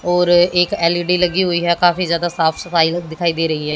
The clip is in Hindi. और एक एल_ई_डी लगी हुई है काफी जादा साफ सफाई दिखाई दे रही है।